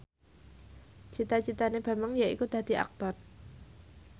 cita citane Bambang yaiku dadi Aktor